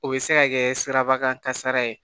O bɛ se ka kɛ siraba kan kasara ye